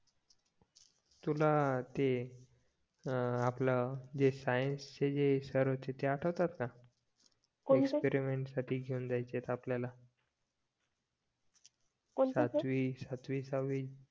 तुला अं ते अं आपलं ते सायन्स चे जे सर होते ते आटवतात का एक्सपिरिमेंट साठी घेऊन जायचे आपल्याला सातवी सहावी